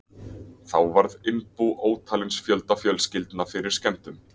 Þá varð innbú ótalins fjölda fjölskyldna fyrir skemmdum.